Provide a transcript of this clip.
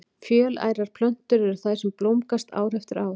Fjölærar plöntur eru þær sem blómgast ár eftir ár.